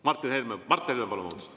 Mart Helme, palun!